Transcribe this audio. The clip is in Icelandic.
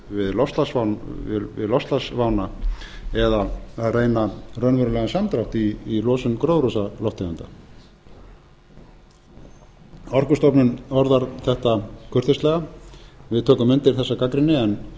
við loftslagsvána eða reyna raunverulegan samdrátt í losun gróðurhúsalofttegunda orkustofnun orðar þetta kurteislega við tökum undir þessa gagnrýni en eins